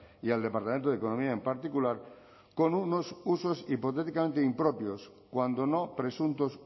y al departamento de economía en particular con unos usos hipotéticamente impropios cuando no presuntos